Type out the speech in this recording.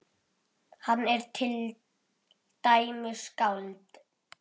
Hann er til dæmis skáld.